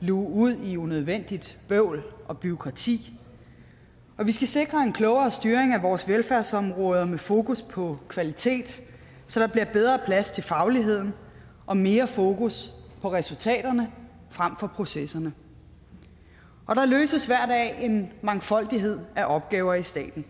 luge ud i unødvendigt bøvl og bureaukrati og vi skal sikre en klogere styring af vores velfærdsområder med fokus på kvalitet så der bliver bedre plads til fagligheden og mere fokus på resultaterne frem for processerne og der løses hver dag en mangfoldighed af opgaver i staten